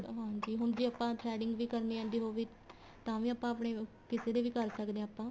ਹੁਣ ਜ਼ੇ ਆਪਾਂ threading ਵੀ ਕਰਨੀ ਆਦੀ ਹੋਵੇ ਤਾਂ ਵੀ ਆਪਾਂ ਆਪਣੇ ਕਿਸੇ ਦੇ ਕਰ ਸਕਦੇ ਹਾਂ ਆਪਾਂ